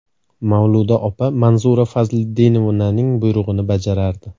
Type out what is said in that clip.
Mavluda opa Manzura Fazliddinovnaning buyrug‘ini bajarardi.